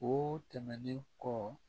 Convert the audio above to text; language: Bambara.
O tɛmɛnen kɔ